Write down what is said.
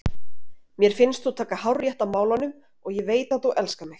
Mér finnst þú taka hárrétt á málunum og ég veit að þú elskar mig.